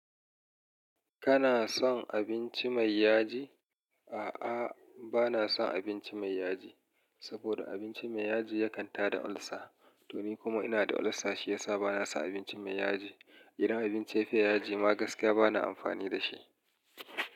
Kana son abinci mai yaji? A'a, bana son abinci mai yaji, saboda abinci mai yaji ya kan ta da ulcer. To ni kuma ina da ulcer shiyasa bana son abinci mai yaji. Idan abin ce fiya yaji ma gaskiya bana amfani dashi.